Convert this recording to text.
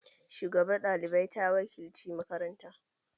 Shugabar ɗalibai ta wakilci makaranta.